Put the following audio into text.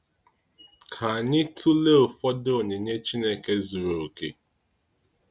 Ka anyị tụlee ụfọdụ onyinye Chineke zuru okè.